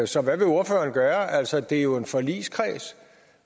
så hvad vil ordføreren gøre altså der er jo en forligskreds